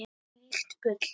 Þvílíkt bull.